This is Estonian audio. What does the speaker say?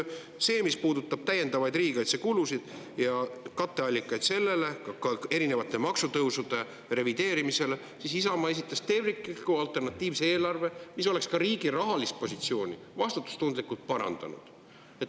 Mis puudutab täiendavaid riigikaitsekulusid ning nende ja ka erinevate maksutõusude revideerimise katteallikaid, siis Isamaa esitas tervikliku alternatiivse eelarve, mis oleks ka riigi rahalist positsiooni vastutustundlikult parandanud.